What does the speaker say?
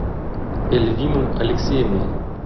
эльвину алексеевну